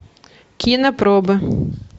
кинопробы